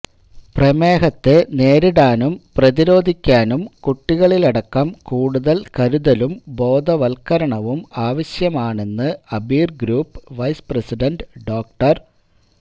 പ്രമേഹത്തെ നേരിടാനും പ്രതിരോധിക്കാനും കുട്ടികളിലടക്കം കൂടുതൽ കരുതലും ബോധവൽക്കരണവും ആവിശ്യമാണെന്ന് അബീർ ഗ്രൂപ്പ് വൈസ് പ്രസിഡന്റ് ഡോ